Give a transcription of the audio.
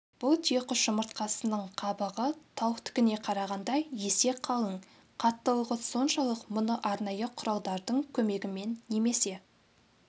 бұл түйеқұс жұмыртқасының қабығы тауықтікіне қарағанда есе қалың қаттылығы соншалық мұны арнайы құралдардың көмегімен немесе